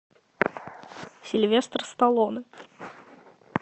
сильвестр сталлоне